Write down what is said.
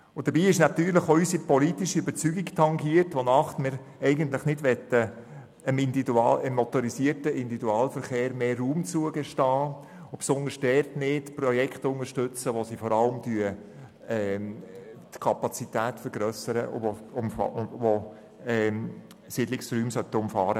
Das tangiert natürlich auch unsere politische Überzeugung, wonach wir dem motorisierten Individualverkehr eigentlich nicht mehr Raum zugestehen und besonders nicht Projekte unterstützen möchten, welche vor allem die Kapazität vergrössern und Umfahrungen von Siedlungsräumen vorsehen.